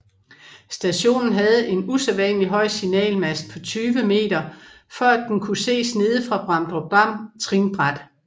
Stationen havde en usædvanligt høj signalmast på 20 m for at den kunne ses nede fra Bramdrupdam Trinbræt